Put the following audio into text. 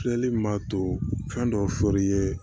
Filɛli min b'a to fɛn dɔ fɔri ye